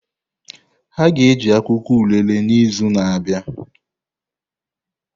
Ha ga-eji akwụkwọ orele n'izu na-abịa.